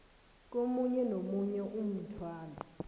komunye nomunye umthwalo